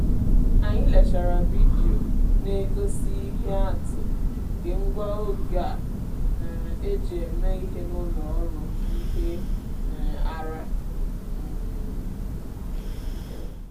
anyị lechara vidio na-egosi ihe atụ nke ngwa oge a um eji eme ihe n’ụlọ ọrụ ihe um ara. um